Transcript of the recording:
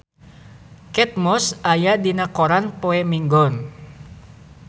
Kate Moss aya dina koran poe Minggon